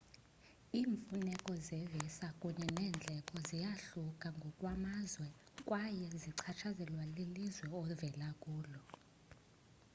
iimfuneko zevisa kunye neendleko ziyahluka ngokwamazwe kwaye zichatshazelwa lilizwe ovela kulo